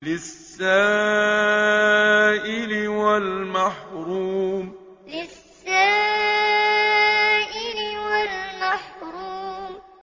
لِّلسَّائِلِ وَالْمَحْرُومِ لِّلسَّائِلِ وَالْمَحْرُومِ